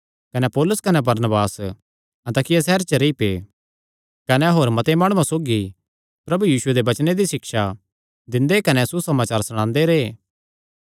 कने पौलुस कने बरनबास अन्ताकिया सैहरे च रेई पै कने होर मते माणुआं सौगी प्रभु यीशुये दे वचने दी सिक्षा दिंदे कने सुसमाचार सणांदे रैह्